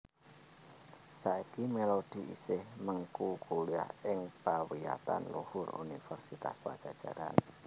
Saiki Melody isih mengku kuliah ing pawiyatan luhur Universitas Padjadjaran